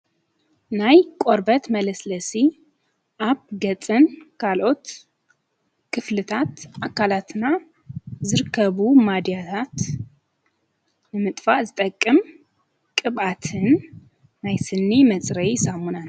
ናይ ቆርበት መለስለሲ ኣብ ገፅና ካልኦት ክፍልታት ኣካላትና ዘርከቡ ማዳታት ንምጥፋ ዝጠቅም ቅባኣትን ናይስኒ መጽረይ ዛሙናን።